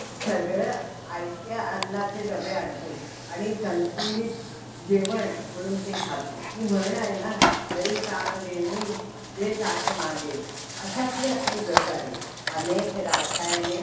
आतापण आता ते~ त्यांचं extra marriage दाखवलेलं आहे, त्याचे ते जे रुद्र आहे, त्या~ त्याचा दुसरा जन्म झाला. तर ते अह ते लंडनला राहतो. तेपण एक~